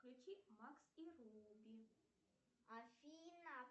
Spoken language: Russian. включи макс и руби афина